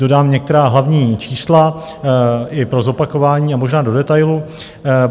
Dodám některá hlavní čísla i pro zopakování a možná do detailu.